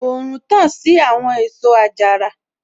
Òòrùn tàn sí àwọn èso àjàrà